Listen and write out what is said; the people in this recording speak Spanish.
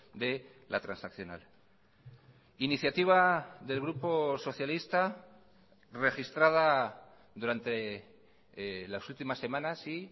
de la transaccional iniciativa del grupo socialista registrada durante las últimas semanas sí